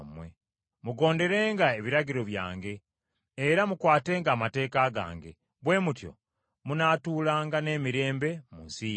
“Mugonderenga ebiragiro byange, era mukwatenga amateeka gange, bwe mutyo munaatuulanga n’emirembe mu nsi yammwe.